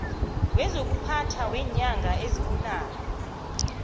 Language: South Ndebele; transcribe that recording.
wezokuphatha weenyanga ezibunane